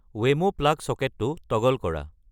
Wemo plug ছকেটটো toggle কৰা